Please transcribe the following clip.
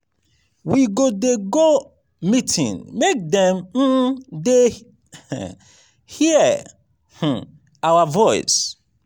we go dey go meeting make dem um dey um hear um our voice.